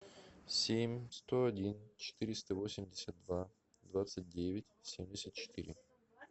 семь сто один четыреста восемьдесят два двадцать девять семьдесят четыре